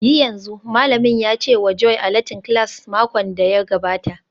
Yi yanzu!, Malamin ya ce wa Joy a Latin class makon da ya gabata